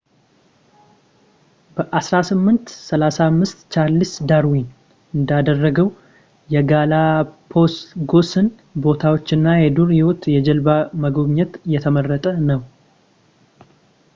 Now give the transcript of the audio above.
በ1835 ቻርልስ ዳርዊን እንዳደረገው የጋላፓጎስን ቦታዎች እና የዱር ህይወት በጀልባ መጎብኘት የተመረጠ ነው